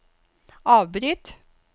avbryt